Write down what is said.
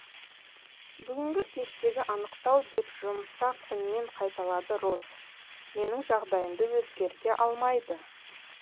бүгінгі кештегі анықтау деп жұмсақ үнмен қайталады роз менің жағдайымды өзгерте алмайды